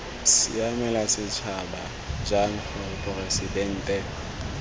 siamela setšhaba jang gore poresitente